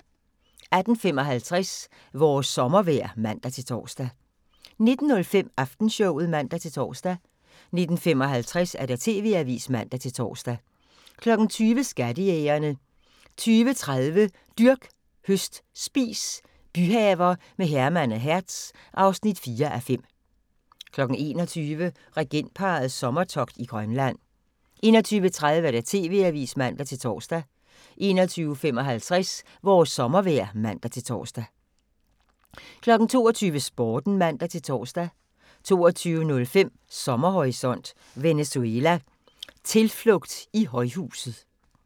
18:55: Vores sommervejr (man-tor) 19:05: Aftenshowet (man-tor) 19:55: TV-avisen (man-tor) 20:00: Skattejægerne 20:30: Dyrk, høst, spis – byhaver med Herman og Hertz (4:5) 21:00: Regentparrets sommertogt i Grønland 21:30: TV-avisen (man-tor) 21:55: Vores sommervejr (man-tor) 22:00: Sporten (man-tor) 22:05: Sommerhorisont: Venezuela: "Tilflugt i højhuset"